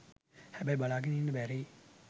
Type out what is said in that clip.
හැබැයි බලාගෙන ඉන්න බැරි